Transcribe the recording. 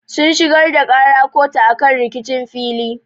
Sun shigar da ƙara kotu akan rikicin fili.